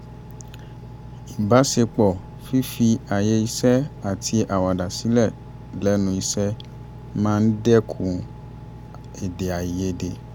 ìbáṣepọ fífi àyè iṣẹ́ àti àwàdà sílẹ̀ lẹ́nu iṣẹ́ máa ń dẹ́kun èdèàìyedè